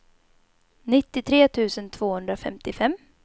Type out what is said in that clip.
nittiotre tusen tvåhundrafemtiofem